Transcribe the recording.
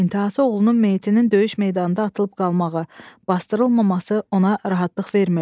İntahası oğlunun meyitinin döyüş meydanında atılıb qalmağı, basdırılmaması ona rahatlıq vermirdi.